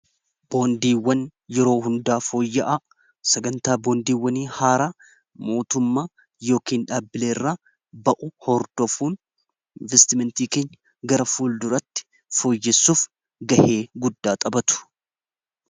boondiiwwan yeroo hundaa fooyya'aa sagantaa boondiiwwani haaraa mootummaa yookiin dhaabbileerraa ba’u hordofuun investimentii keenya gara fuul duratti fooyyessuuf gahee guddaa xabatu